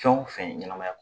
Fɛn o fɛn ɲɛnamaya